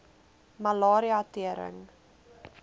malaria tering